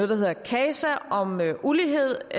der hedder casa om ulighed